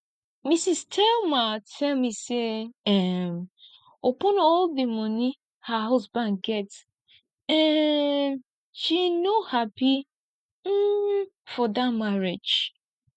mrs thelma tell me say um upon all the money her husband get um she no happy um for dat marriage